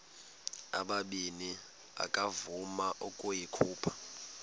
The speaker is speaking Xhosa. ubabini akavuma ukuyikhupha